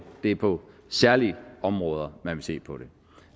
det er på særlige områder man vil se på det